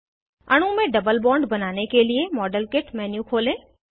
अणु में double bond बनाने के लिए मॉडेल किट मेन्यू खोलें